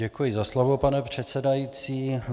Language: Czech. Děkuji za slovo, pane předsedající.